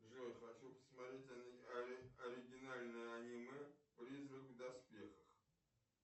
джой хочу посмотреть оригинальное аниме призрак в доспехах